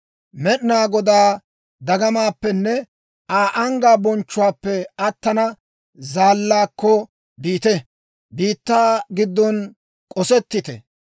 Med'inaa Godaa dagamaappenne Aa anggaa bonchchuwaappe attanaw zaallaakko biite; biittaa giddon k'osettite!